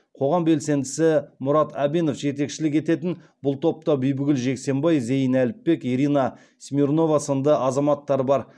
қоғам белсендісі мұрат әбенов жетекшілік ететін бұл топта бибігүл жексенбай зейін әліпбек ирина смирнова сынды азаматтар бар